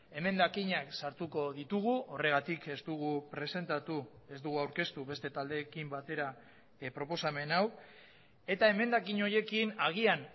emendakinak sartuko ditugu horregatik ez dugu presentatu ez dugu aurkeztu beste taldeekin batera proposamen hau eta emendakin horiekin agian